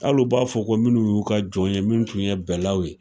Hali u b'a fɔ ko minnu y'u ka jɔn ye min tun ye bɛlaw ye.